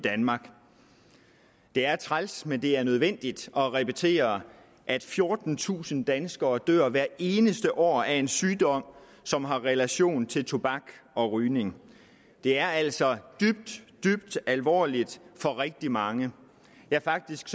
danmark det er træls men det er nødvendigt at repetere at fjortentusind danskere dør hvert eneste år af en sygdom som har relation til tobak og rygning det er altså dybt dybt alvorligt for rigtig mange ja faktisk